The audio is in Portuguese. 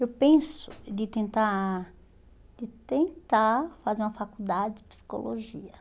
Eu penso de tentar de tentar fazer uma faculdade de psicologia.